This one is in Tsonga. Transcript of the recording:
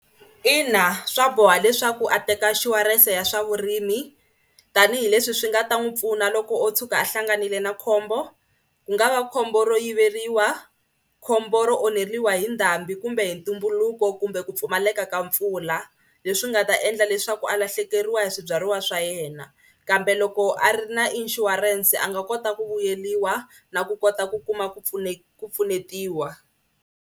Ina swa boha leswaku a teka inshurense ya swa vurimi tanihileswi swi nga ta n'wi pfuna loko o tshuka a hlanganile na khombo. Ku nga va khombo ro yiveriwa, khombo ro onheriwa hi ndhambi kumbe tumbuluko kumbe ku pfumaleka ka mpfula leswi nga ta endla leswaku a lahlekeriwa hi swibyariwa swa yena kambe loko a ri na inshurense a nga kota ku vuyeriwa na ku kota ku kuma ku ku pfunetiwa.